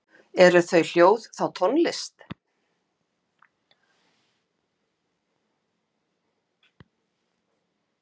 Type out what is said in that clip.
eru þau hljóð þá tónlist